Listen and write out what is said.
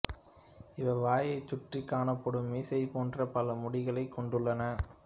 இவை வாயைச் சுற்றிக் காணப்படும் மீசை போன்ற பல முடிகளைக் கொண்டுள்ளன